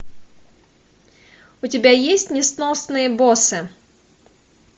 у тебя есть несносные боссы